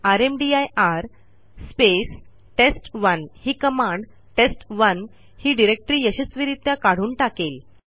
रामदीर space टेस्ट1 ही कमांडtest1 ही डिरेक्टरी यशस्वीरित्या काढून टाकेल